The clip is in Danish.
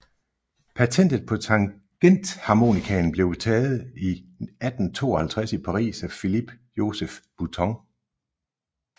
Patentet på tangentharmonikaen blev taget i 1852 i Paris af Philippe Joseph Bouton